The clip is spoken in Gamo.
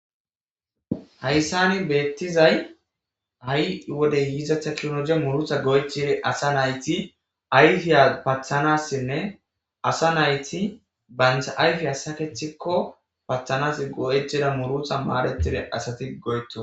Hayssani beettizay ha'i wode yiizatha kinoje murutha goechere asa nayti ayfiya pathanassinne asa nayti bancha ayfi asakecthikko pathanas go'ejeda murutha maadetide asati goyeto.